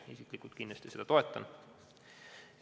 Mina isiklikult kindlasti toetan seda.